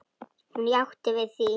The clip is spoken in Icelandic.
Hún játti því.